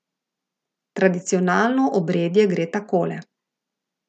Tradicionalno obredje gre takole.